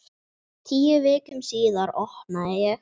Tíu vikum síðar opnaði ég.